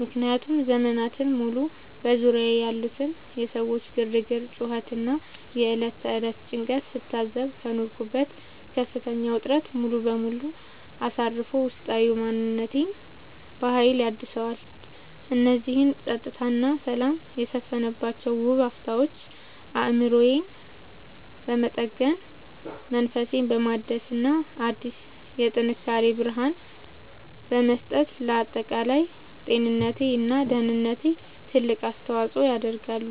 ምክንያቱም ዘመናትን ሙሉ በዙሪያዬ ያሉትን የሰዎች ግርግር፣ ጩኸት እና የዕለት ተዕለት ጭንቀት ስታዘብ ከኖርኩበት ከፍተኛ ውጥረት ሙሉ በሙሉ አሳርፎ ውስጣዊ ማንነቴን በሀይል ያድሰዋል። እነዚህ ፀጥታ እና ሰላም የሰፈነባቸው ውብ አፍታዎች አእምሮዬን በመጠገን፣ መንፈሴን በማደስ እና አዲስ የጥንካሬ ብርሃን በመስጠት ለአጠቃላይ ጤንነቴ እና ደህንነቴ ትልቅ አስተዋፅዖ ያደርጋሉ።